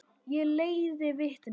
Ég leiði vitni.